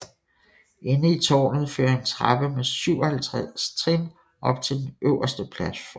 Inde i tårnet fører en trappe med 57 trin op til den øverste platform